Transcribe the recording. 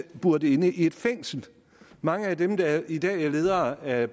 buret inde i et fængsel mange af dem der i dag er ledere af